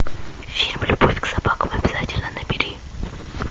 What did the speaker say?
фильм любовь к собакам обязательно набери